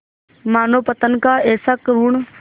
मानवपतन का ऐसा करुण